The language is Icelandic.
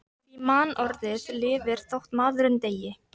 Því mannorðið lifir þótt maðurinn deyi.